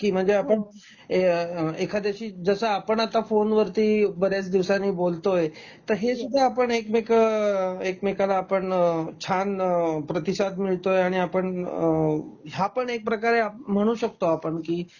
म्हणजे आपण ऐ एखाद्याशी म्हणजे जस आपण आत्ता फोन वरती बऱ्याच दिवसांनी बोलतोय तर हे सुद्धा आपण एकमेक एकमेकांना आपण छान प्रतिसाद मिळतोय आणि आपण ह्या पण एक प्रकारे म्हणू शकतो आपण